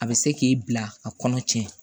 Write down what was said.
A bɛ se k'i bila a kɔnɔ tiɲɛ